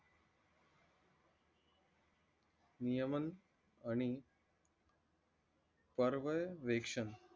नियमन आणि परवय विवेकशन